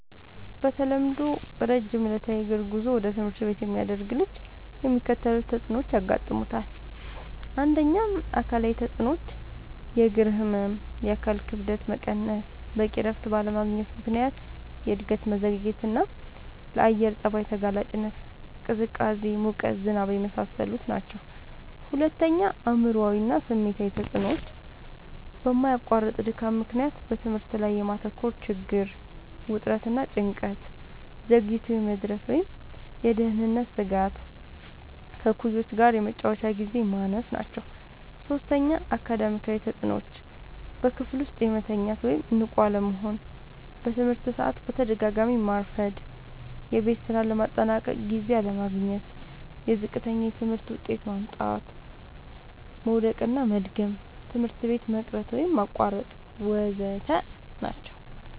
በተለምዶ ረጅም ዕለታዊ የእግር ጉዞ ወደ ትምህርት ቤት የሚያደርግ ልጅ የሚከተሉት ተጽዕኖዎች ያጋጥሙታል። ፩. አካላዊ ተጽዕኖዎች፦ · የእግር ህመም፣ የአካል ክብደት መቀነስ፣ በቂ እረፍት ባለማግኘት ምክንያት የእድገት መዘግየትና፣ ለአየር ጸባይ ተጋላጭነት (ቅዝቃዜ፣ ሙቀት፣ ዝናብ) የመሳሰሉት ናቸዉ። ፪. አእምሯዊ እና ስሜታዊ ተጽዕኖዎች፦ በማያቋርጥ ድካም ምክንያት በትምህርት ላይ የማተኮር ችግር፣ ውጥረት እና ጭንቀት፣ ዘግይቶ የመድረስ ወይም የደህንነት ስጋት፣ ከእኩዮች ጋር የመጫወቻ ግዜ ማነስ ናቸዉ። ፫. አካዳሚያዊ ተጽዕኖዎች፦ · በክፍል ውስጥ መተኛት ወይም ንቁ አለመሆን፣ በትምህርት ሰዓት በተደጋጋሚ ማርፈድ፣ የቤት ስራ ለማጠናቀቅ ጊዜ አለማግኘት፣ ዝቅተኛ የትምህርት ውጤት ማምጣት፣ መዉደቅና መድገም፣ ትምህርት ቤት መቅረት ወይም ማቋረጥ ወ.ዘ.ተ ናቸዉ።